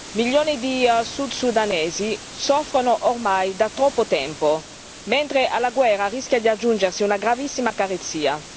Milioni di sud sudanesi soffrono ormai da troppo tempo, mentre alla guerra rischia di aggiungersi una gravissima carestia.